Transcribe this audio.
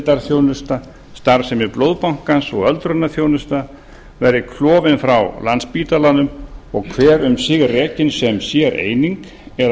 endurhæfing geðdeildarþjónusta starfsemi blóðbankans og öldrunarþjónusta verði klofin frá landspítalanum og hver um sig rekin sem séreining eða